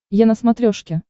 е на смотрешке